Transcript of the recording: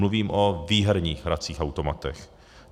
Mluvím o výherních hracích automatech.